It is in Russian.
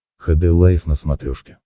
хд лайф на смотрешке